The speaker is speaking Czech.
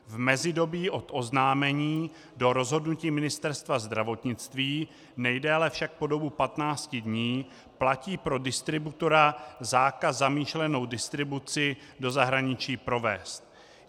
V mezidobí od oznámení do rozhodnutí Ministerstva zdravotnictví, nejdéle však po dobu 15 dní, platí pro distributora zákaz zamýšlenou distribuci do zahraničí provést.